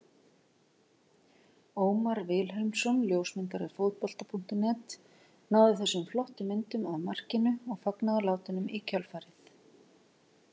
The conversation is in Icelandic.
Ómar Vilhelmsson ljósmyndari Fótbolta.net náði þessum flottu myndum af markinu og fagnaðarlátunum í kjölfarið.